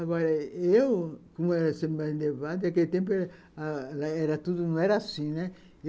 Agora, eu, como era sempre mais elevada, naquele tempo era ãh... era tudo... não era assim, né?